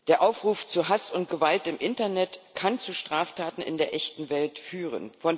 Der Aufruf zu Hass und Gewalt im Internet kann zu Straftaten in der echten Welt führen.